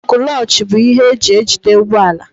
Kúlochi bụ ihe eji ejide ụgbọala.